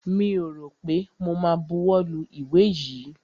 Mi ò rọ̀ pé mo ma buwọ́ lu ìwé yìí.